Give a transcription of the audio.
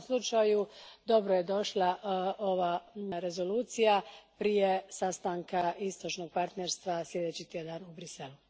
U svakom slučaju, dobro je došla ova Rezolucija prije sastanka Istočnog partnerstva slijedeći tjedan u Bruxellesu.